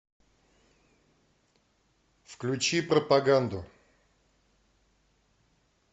включи пропаганду